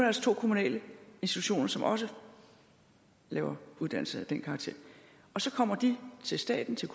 altså to kommunale institutioner som også laver uddannelse af den karakter og så kommer de til staten til